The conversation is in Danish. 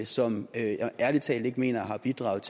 som jeg ærlig talt ikke mener har bidraget